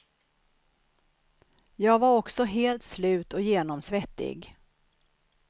Jag var också helt slut och genomsvettig.